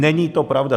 Není to pravda.